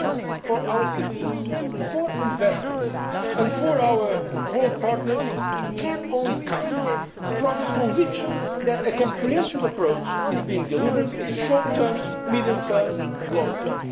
Reassurance for our citizens, for investors and for our world partners can only come from the conviction that a comprehensive approach is being delivered in the short, medium and long term.